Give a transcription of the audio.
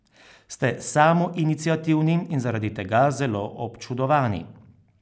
Ste samoiniciativni in zaradi tega zelo občudovani.